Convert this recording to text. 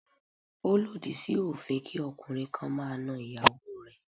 Ó lòdì sí òfin kí ọkùnrin kan máa na ìyàwó rẹ̀.